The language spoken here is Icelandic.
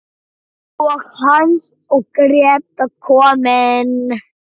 Og Hans og Gréta komin!